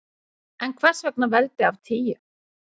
En hvers vegna veldi af tíu?